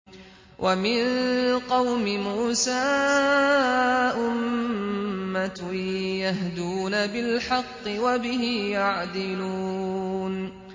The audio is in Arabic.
وَمِن قَوْمِ مُوسَىٰ أُمَّةٌ يَهْدُونَ بِالْحَقِّ وَبِهِ يَعْدِلُونَ